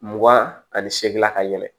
Mugan ani seegin na ka yɛlɛ